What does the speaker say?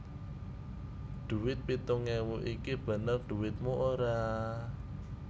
Dhuwit pitung ewu iki bener dhuwitmu ora